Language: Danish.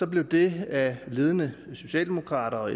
blev det af ledende socialdemokrater og